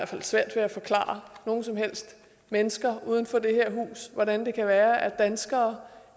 fald svært ved at forklare nogen som helst mennesker uden for det her hus hvordan det kan være at danskere